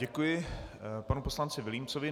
Děkuji panu poslanci Vilímcovi.